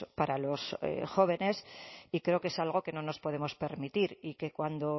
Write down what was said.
para los jóvenes y creo que es algo que no nos podemos permitir y que cuando